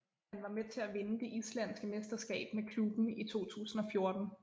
Han var med til at vinde det islandske mesterskab med klubben i 2014